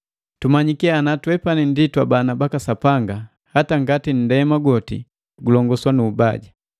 Tumanyiki ana twepani ndi twabana baka Sapanga hata ngati nndema gwoti gulongoswa nu mbaja.